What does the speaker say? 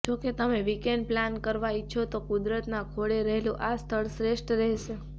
જો તમે weekend plan કરવા ઈચ્છો છો તો કુદરતના ખોળે રહેલું આ સ્થળ શ્રેષ્ઠ રહેશે